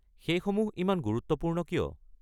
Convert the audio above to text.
সেইসমূহ ইমান গুৰুত্বপূৰ্ণ কিয়?